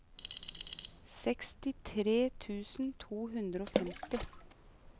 sekstitre tusen to hundre og femti